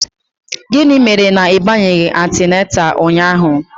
Gịnị mere na ị bịaghị antịnantal ụnyaahụ?